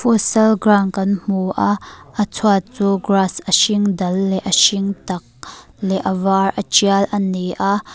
futsal ground kan hmu a a chhuat chu grass a hringdal leh a hring tak leh a var a tial a ni a.